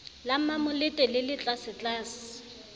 la mmamolete le le tlasetlase